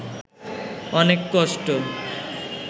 অনেক কষ্ট